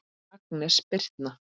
Agnes Birtna.